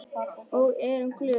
Og erum glöð.